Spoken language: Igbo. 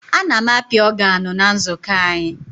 A na m api ọganụ na nzukọ anyị.